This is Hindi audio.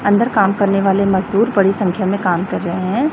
अंदर काम करने वाले मजदूर बड़ी संख्या में काम कर रहे हैं।